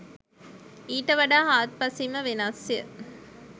ඊට වඩා හාත් පසින්ම වෙනස්ය.